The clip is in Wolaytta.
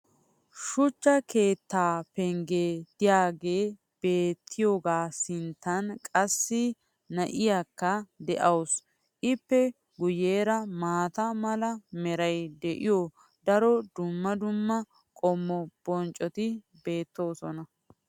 shuchcha keettaa penggee diyaagee beetiyaagaa sinttan qassi na'iyaakka de'awusu. ippe guyeera maata mala meray de'iyo daro dumma dumma qommo bonccoti beetoosona.